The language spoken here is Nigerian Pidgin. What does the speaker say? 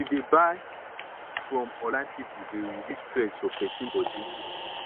to dey buy from online pipu dey reduce stress for pesin body